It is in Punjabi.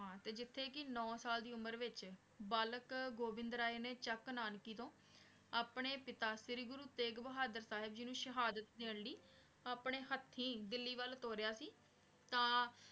ਹਾਂ ਤੇ ਜਿਥੇ ਕੀ ਨੋ ਸਾਲ ਦੀ ਉਮਰ ਵਿਚ ਬਲਾਕ ਗੋਵਿੰਦ ਰੇ ਨੇ ਚਕ ਨਾਨਕੀ ਤਨ ਅਪਨੇ ਪਿਤਾ ਸਿਰੀ ਗੁਰੂ ਤੇਗ ਬਹਾਦੁਰ ਜੀ ਨੂ ਸਹਾਦਤ ਦਿਨ ਲੈ ਅਪਨੇ ਹਥੀਂ ਦਿੱਲੀ ਵਾਲ ਤੋਰਯ ਸੀ ਤਾਂ